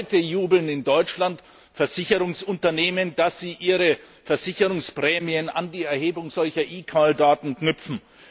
Schon heute jubeln in Deutschland Versicherungsunternehmen, dass sie ihre Versicherungsprämien an die Erhebung solcher eCall Daten knüpfen.